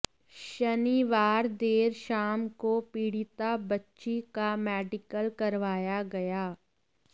शनिवार देर शाम को पीड़िता बच्ची का मेडिकल करवाया गया